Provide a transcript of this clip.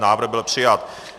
Návrh byl přijat.